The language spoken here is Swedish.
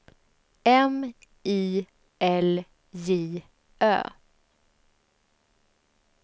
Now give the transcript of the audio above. M I L J Ö